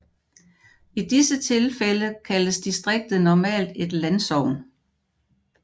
I disse tilfælde kaldtes distriktet normalt et landsogn